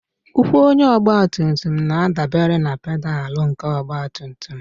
Ụkwụ onye ọgbatumtum na-adabere na pedalụ nke ọgbatumtum